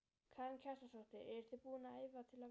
Karen Kjartansdóttir: Eruð þið búin að æfa til að vinna?